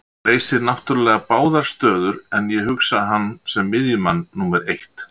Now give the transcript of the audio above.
Hann leysir náttúrulega báðar stöður en ég hugsa hann sem miðjumann númer eitt.